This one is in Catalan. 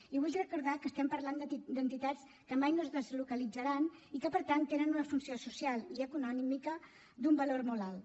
i vull recordar que estem parlant d’entitats que mai no es deslocalitzaran i que per tant tenen una funció social i econòmica d’un valor molt alt